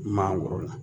Mangoro la